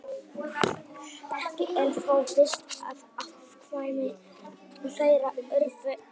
ekki er þó víst að afkvæmi þeirra yrðu dugandi